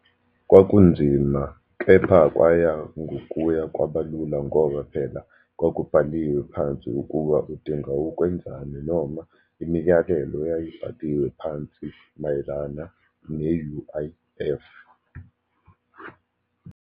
Kwakunzima kepha kwaya ngokuya kwabalula, ngoba phela kwakubhaliwe phansi ukuba udinga ukwenzani, noma imiyalelo yayibhaliwe phansi mayelana ne-U_I_F.